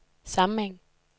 sammenhæng